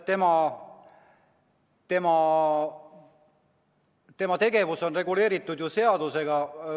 Tema tegevus on reguleeritud seadusega.